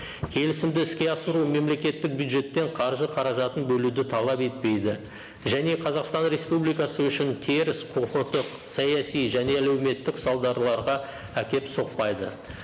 келісімді іске асыру мемлекеттік бюджеттен қаржы қаражатын бөлуді талап етпейді және қазақстан республикасы үшін теріс құқықтық саяси және әлеуметтік салдарларға әкеліп соқпайды